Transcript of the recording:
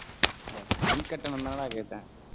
இந்தா, மின் கட்டணம் தானடா கேட்டேன்